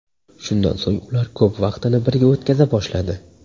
Shundan so‘ng ular ko‘p vaqtini birga o‘tkaza boshladi.